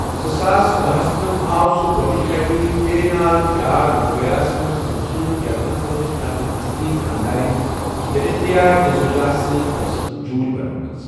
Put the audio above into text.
زٕساس بَہہَس منٛز آو سُہ گۄڈٕنِچہِ لَٹہِ' تیرے نال پیار ہو گیاہَس' منٛز وُچھنہٕ، یَتھ منٛز تٔمِس پنِنہِ اصلی خانٛدارین جینیلیا ڈی سوزاہَس سۭتۍ ٲسٕکھ جوٗرۍ بنٲومٕژ۔